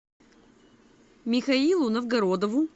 михаилу новгородову